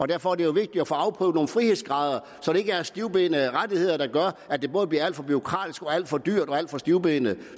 derfor er det jo vigtigt at få afprøvet nogle frihedsgrader så det ikke er stivbenede rettigheder der gør at det både bliver alt for bureaukratisk og alt for dyrt og alt for stivbenet